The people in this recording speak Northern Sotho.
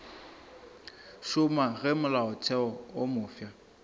šoma ge molaotheo wo mofsa